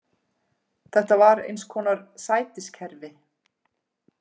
Þetta var eins konar sætiskerfi.